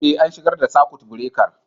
Eh, an shigar da sakut birekar.